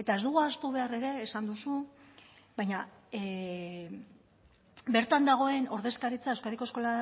eta ez dugu ahaztu behar ere esan duzu baina bertan dagoen ordezkaritza euskadiko eskola